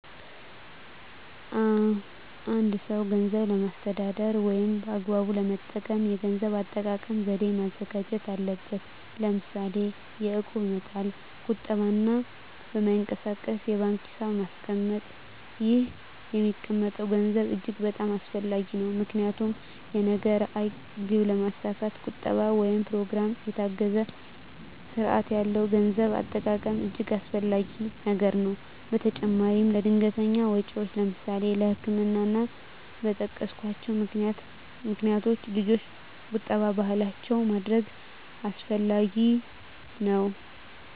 አ አንድ ሰው ገንዘብን ለማስተዳደር ወይም በአግባቡ ለመጠቀም የገንዘብ አጠቃቀም ዘዴ ማዘጋጀት አለበት ለምሳሌ የእቁብ መጣል ቁጠባ እና በማይንቀሳቀስ የባንክ ሒሳብ ማስቀመጥ ይህ የሚቀመጠም ገንዘብ እጅግ በጣም አስፈላጊ ነው ምክንያቱም የነገ ራዕይ ግብ ለማስካት ቁጠባ ወይም በኘሮግራም የታገዘ ስርአት ያለው የገንዘብ አጠቃቀም እጅገ አስፈላጊ ነገር ነው በተጨማራም ለድንገተኛ ወጨወች ለምሳሌ ለህክምና እና እና በጠቀስኮቸው ምክንያቶች ልጆች ቁጠባ ባህላችን ማድረግ አስፈላጊ ነው።